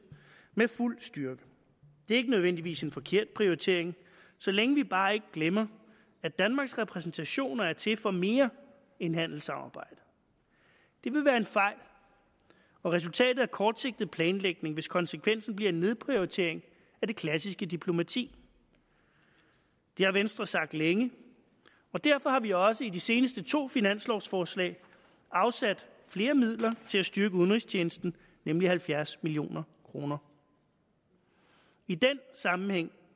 med fuld styrke det er ikke nødvendigvis en forkert prioritering så længe vi bare ikke glemmer at danmarks repræsentationer er til for mere end handelssamarbejde det vil være en fejl og resultatet af kortsigtet planlægning hvis konsekvensen bliver en nedprioritering af det klassiske diplomati det har venstre sagt længe og derfor har vi også i de seneste to års finanslovsforslag afsat flere midler til at styrke udenrigstjenesten nemlig halvfjerds million kroner i den sammenhæng